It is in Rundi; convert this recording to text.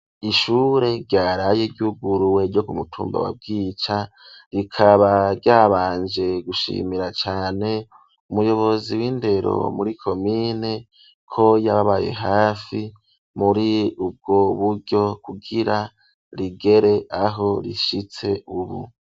Ishure ryaraye iryuguruwe ryo kumutumba wa bwica rikaba ryabanje gushimira cane umuyobozi w'indero muri komine ko yababaye hafi muri ubwo buryo kugira rigera aho rishitse ubu.